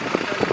Darıxmışdır.